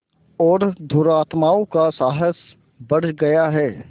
और दुरात्माओं का साहस बढ़ गया है